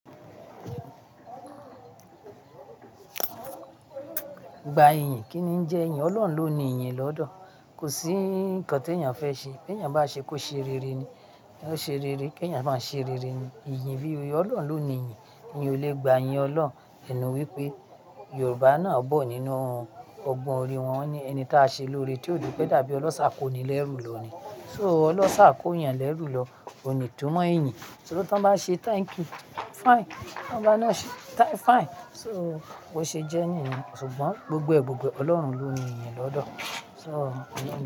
Gba iyìn, kíni ń jẹ iyìn? Ọlọ́run ló ní iyìn lọ́dọ̀. Kò sí ńǹkan tèèyàn fẹ́ ṣe, kí èèyàn bá ṣe kó ṣe rere ni. Kí èèyàn bá ṣe, kó ṣe rere ni. Iyìn bí oyè, Ọlọ́run ló ní iyìn. Èèyàn ò lè gba iyìn Ọlọ́run, ènu wípé Yorùbá náà bọ́ nínú ọgbọ́n orí wọn ní ẹni táa ṣe lóore tí ò dúró pẹ́, dàbí Ọlọ́ sá kó ni lẹ́rù lọ ni. So Ọlọ́ sá kó èèyàn lẹ́rù lọ, òní túmọ̀ iyìn. So tí wọ́n bá ń ṣe thank you, fine. Wọ́n bá náà ṣe thank, fine. So bó ṣe jẹ́ ní ìgbà, ṣùgbọ́n gbogbo ẹ̀, gbogbo Ọlọ́run ló ní iyìn lọ́dọ̀. So.